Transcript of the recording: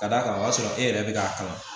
Ka d'a kan o b'a sɔrɔ e yɛrɛ bɛ k'a kalan